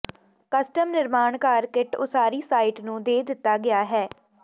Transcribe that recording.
custom ਨਿਰਮਾਣ ਘਰ kit ਉਸਾਰੀ ਸਾਈਟ ਨੂੰ ਦੇ ਦਿੱਤਾ ਗਿਆ ਹੈ